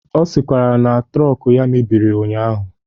Ọ sịkwara na trọk ya mebiri ụnyaahụ.